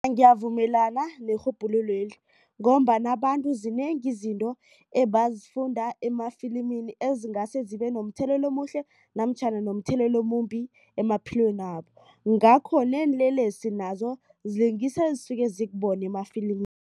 Ngiyavumelana nerhubhululo leli ngombana abantu zinengi izinto ebazifunda emafilimini ezingase zibe nomthelela omuhle namtjhana nomthelelo omumbi emaphilweni wabo. Ngakho neenlelesi nazo zilingisa ezisuke zikubone